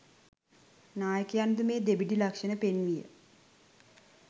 නායකයන්ද මේ දෙබිඩි ලක්‍ෂණ පෙන්විය